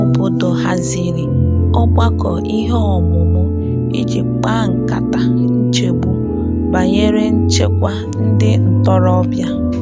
Ndị obodo haziri ogbakọ ihe omumu i ji kpa nkata nchegbu banyere nchekwa ndị ntorobịa.